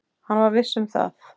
Hann var viss um það.